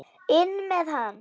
INN MEÐ HANN!